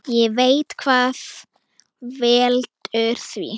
Ég veit hvað veldur því.